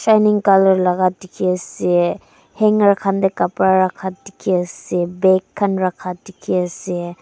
colour laka dikhiase hanger khan tae kapra rakha dikhiase bag khan rakha dikhiase.